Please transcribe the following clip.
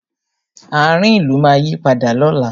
Ààrin ìlú máa yí padà lóla